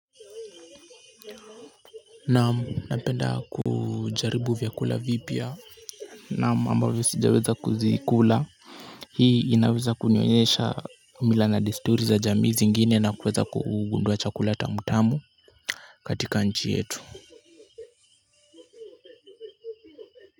Naam, napenda kujaribu vyakula vipya. Naam ambavyo sijaweza kuzikula. Hii inaweza kunionyesha mila na desturi za jamii zingine na kuweza kugundua chakula tamutamu katika nchi yetu.